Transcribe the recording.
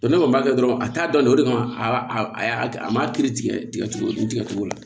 ne kɔni b'a kɛ dɔrɔn a t'a dɔn o de kama a y'a a ma kiri tigɛ tigɛ cogo di tigɛ cogo la